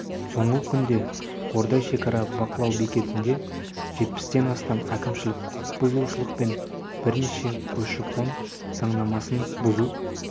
соңғы күнде қордай шекара бақылау бекетінде жетпістен астам әкімшілік құқық бұзушылық пен бірнеше көші-қон заңнамасын бұзу